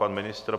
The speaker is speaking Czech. Pan ministr?